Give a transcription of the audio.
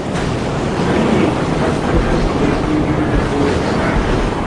Anyị na-ebipụta akwụkwọ mgbasa ozi ihu igwe kwa ụbọchị ahịa.